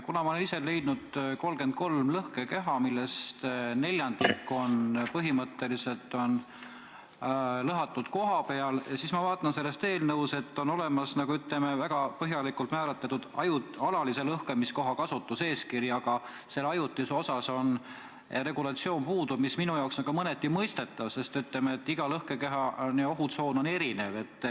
Kuna ma olen ise leidnud 33 lõhkekeha, millest neljandik on põhimõtteliselt lõhatud kohapeal, siis ma vaatan, et selles eelnõus on olemas väga põhjalikult määratletud alalise lõhkamiskoha kasutuseeskiri, aga selle ajutise kohta regulatsioon puudub, mis minu jaoks on ka mõneti mõistetav, sest iga lõhkekeha ohutsoon on erinev.